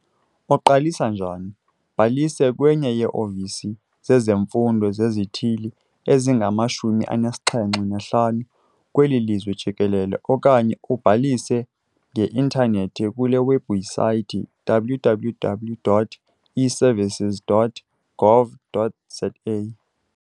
Uqalisa njani? Bhalisa kwenye yee-ofisi zezemfundo zezithili ezingama-75 kweli lizwe jikelele okanye ubhalise nge-intanethi kule webhusaythi- www.eservices.gov.za.